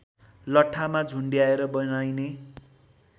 लठ्ठामा झुण्डाएर बनाइने